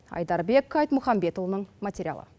айдарбек айтмұханбетұлының материалы